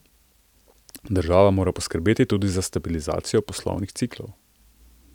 Država mora poskrbeti tudi za stabilizacijo poslovnih ciklov.